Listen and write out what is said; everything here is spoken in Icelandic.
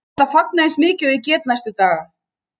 Ég ætla að fagna eins mikið og ég get næstu daga.